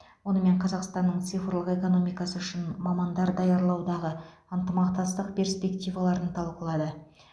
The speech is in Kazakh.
онымен қазақстанның цифрлық экономикасы үшін мамандар даярлаудағы ынтымақтастық перспективаларын талқылады